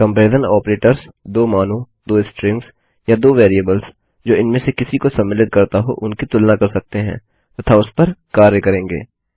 comparison operators 2 मानों 2 strings या 2 variables जो इनमें से किसी को सम्मिलित करता हो उनकी तुलना कर सकते हैं तथा उस पर कार्य करेंगे